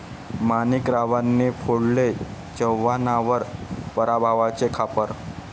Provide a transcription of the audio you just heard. माणिकरावांनी फोडले चव्हाणांवर पराभवाचे खापर